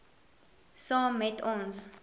saam met ons